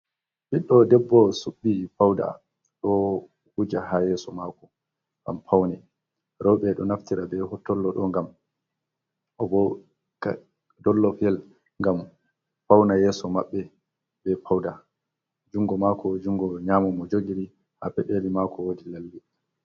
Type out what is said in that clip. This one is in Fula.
Ɓiɗɗo debbo su''i pawda ɗo wuja haa yeeso maako ngam fawne .Rowɓe ɗo naftira be hottollo ɗo be dollofyel, ngam fawna yeeso maɓɓe be pawda. Junngo maako, junngo nyaamo mo jogiri haa peɗeli maako woodi lalle.